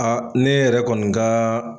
Aa ne yɛrɛ kɔni gaa